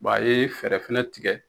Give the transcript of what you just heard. Bɔn a ye fɛɛrɛ fɛnɛ tigɛ